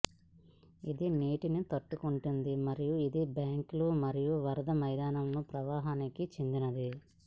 ఇది నీటిని తట్టుకుంటుంది మరియు ఇది బ్యాంకులు మరియు వరద మైదానాల ప్రవాహానికి చెందినది